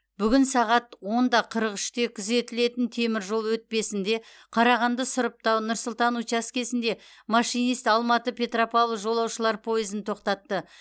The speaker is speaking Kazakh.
бүгін сағат он да қырық үште күзетілетін теміржол өтпесінде қарағанды сұрыптау нұр сұлтан учаскесінде машинист алматы петропавл жолаушылар пойызын тоқтатты